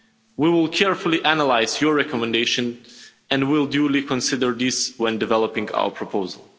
We will carefully analyse your recommendations and will duly consider these when developing our proposal.